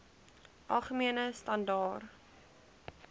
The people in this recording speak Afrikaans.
algemene standaar